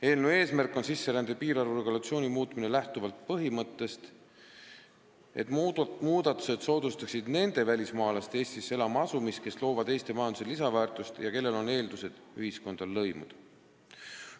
Eelnõu eesmärk on muuta sisserände piirarvu regulatsiooni lähtuvalt põhimõttest, et muudatused soodustaksid nende välismaalaste Eestisse elama asumist, kes loovad Eesti majandusele lisandväärtust ja kellel on eeldused ühiskonda lõimuda.